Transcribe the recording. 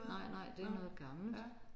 Nej nej det er noget gammelt